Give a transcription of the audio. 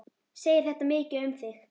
Segir þetta mikið um þig.